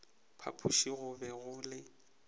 phapoši go be go le